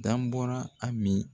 Dam bɔnnaa Ami